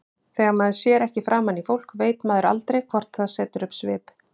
Þegar maður sér ekki framan í fólk veit maður aldrei hvort það setur upp svip.